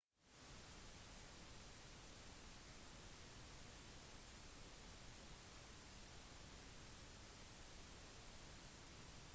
søket måtte stoppes på grunn av det samme problematiske været som hadde ført til den avbrutte landingen